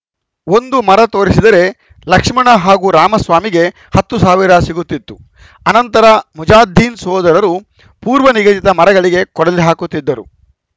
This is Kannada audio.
ಒಂದು ಮರ ತೋರಿಸಿದರೆ ಲಕ್ಷ್ಮಣ ಹಾಗೂ ರಾಮಸ್ವಾಮಿಗೆ ಹತ್ತು ಸಾವಿರ ಸಿಗುತ್ತಿತ್ತು ಆನಂತರ ಮುಜಾದ್ದೀನ್‌ ಸೋದರರು ಪೂರ್ವ ನಿಗದಿತ ಮರಗಳಿಗೆ ಕೊಡಲಿ ಹಾಕುತ್ತಿದ್ದರು